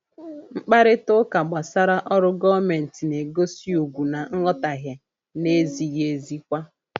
Mkparịta ụka gbasara ọrụ gọọmentị na-egosi ugwu na nghọtahie na-ezighị ezi kwa.